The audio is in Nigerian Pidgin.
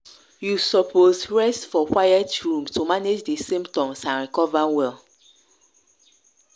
you suppose rest for quiet room to manage di symptoms and recover well.